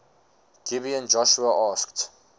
gibeon joshua asked